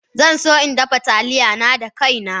Zan so in dafa Taliya na da kaina